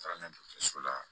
Taara n'a ye dɔgɔtɔrɔso la